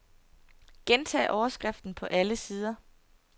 Gentag overskriften på alle sider.